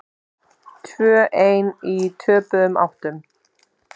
Tvö ein í töpuðum áttum.